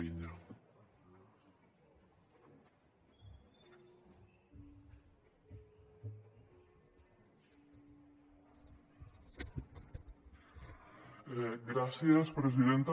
gràcies presidenta